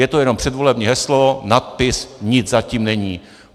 Je to jenom předvolební heslo, nadpis, nic za tím není.